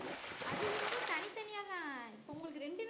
அது வந்து தனி தனியாத்தான் இப்ப உங்களுக்கு ரெண்டுமே